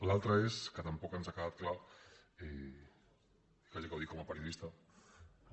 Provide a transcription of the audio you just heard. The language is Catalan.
l’altre és que tampoc ens ha quedat clar quasi que ho dic com a periodista